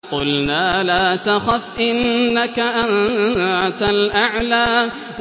قُلْنَا لَا تَخَفْ إِنَّكَ أَنتَ الْأَعْلَىٰ